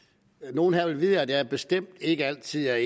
nogle her vil vide at jeg bestemt ikke altid er